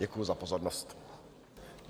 Děkuji za pozornost.